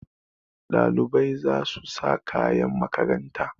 Ɗalibai za su sa kayan makaranta.